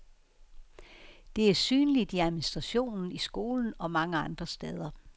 Det er synligt i administrationen, i skolen og mange andre steder.